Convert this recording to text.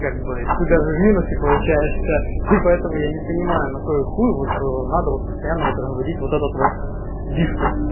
как бы ты даже в минусе получаешься и поэтому я не понимаю на кой хуй вот надо вот постоянно вот разводить вот этот вот диспут